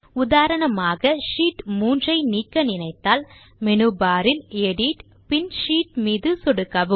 உதாரணமாக ஷீட் 3 ஐ நீக்க நினைத்தால் மேனு பார் இல் எடிட் பின் ஷீட் மீது சொடுக்கவும்